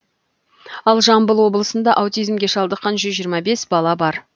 ал жамбыл облысында аутизмге шалдыққан жүз жиырма бес бала бар